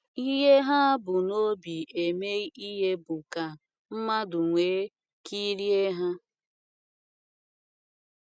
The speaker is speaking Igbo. Ihe ha bu n’obi eme ihe bụ ka “ mmadụ wee kirie ha. ”